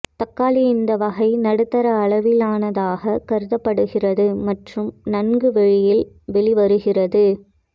தக்காளி இந்த வகை நடுத்தர அளவிலானதாக கருதப்படுகிறது மற்றும் நன்கு வெளியில் வெளிவருகிறது